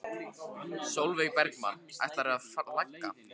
Sólveig Bergmann: Ætlarðu að flagga?